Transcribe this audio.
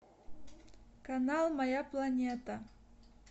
канал моя планета